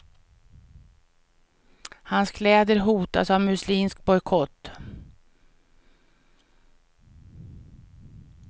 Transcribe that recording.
Hans kläder hotas av muslimsk bojkott.